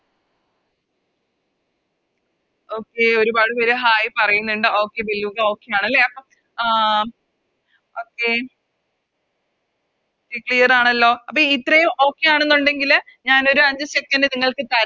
Okay ഒരുപാട് പേര് Hai പറയുന്നിണ്ട് Okay Okay ആണല്ലേ അപ്പൊ ആഹ് Okay Okay clear ആണല്ലോ അപ്പൊ ഇത്രേം Clear ആണെന്നുണ്ടേല് ഞാനൊരു അഞ്ച് Second നിങ്ങൾക്ക് തര